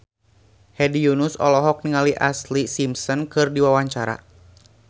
Hedi Yunus olohok ningali Ashlee Simpson keur diwawancara